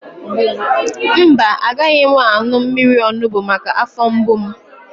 Mba, agaghị m aṅụ mmiri onugbu maka afọ mgbu m